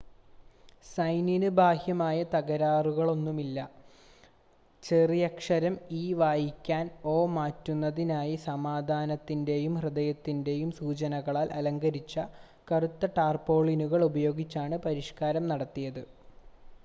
"സൈനിന് ബാഹ്യമായ തകരാറൊന്നുമില്ല; ചെറിയക്ഷരം "e" വായിക്കാൻ "o" മാറ്റുന്നതിനായി സമാധാനത്തിന്റെയും ഹൃദയത്തിന്റെയും സൂചനകളാൽ അലങ്കരിച്ച കറുത്ത ടാർപോളിനുകൾ ഉപയോഗിച്ചാണ് പരിഷ്ക്കാരം നടത്തിയത്.